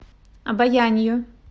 обоянью